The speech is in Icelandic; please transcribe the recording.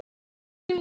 Erna mín.